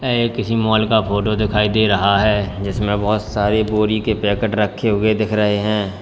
ये किसी मॉल का फोटो दिखाई दे रहा है जिसमें बहोत सारी बोरी के पैकेट रखे हुए दिख रहे हैं।